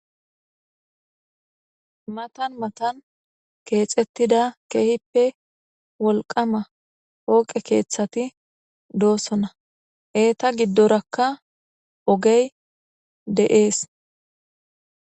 Matan matan keehippe keexetida cora asay issippe shiiqidi osso miisha oykkidi gita dembbazan miththata tokkishe dizayssane hara bagara gede miththatikka dizayssi qonccekko.